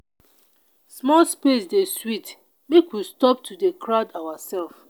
small space dey sweet make we stop to dey crowd oursef.